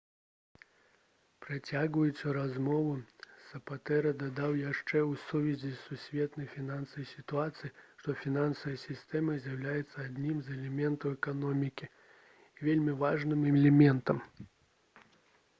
працягваючы размову сапатэра дадаў яшчэ ў сувязі з сусветнай фінансавай сітуацыяй што «фінансавая сістэма з'яўляецца адным з элементаў эканомікі вельмі важным элементам»